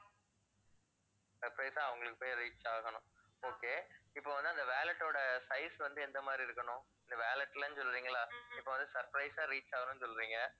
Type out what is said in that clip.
surprise ஆ அவங்களுக்கு போய் reach ஆகணும் okay இப்ப வந்து அந்த wallet ஓட size வந்து எந்த மாதிரி இருக்கணும் இந்த wallet சொல்றீங்களா? இப்ப வந்து surprise ஆ reach ஆகணும்னு சொல்றீங்க.